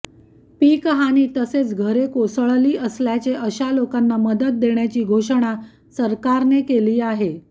पीकहानी तसेच घरे कोसळली असल्याचे अशा लोकांना मदत देण्याची घोषणा सरकारने केली आहे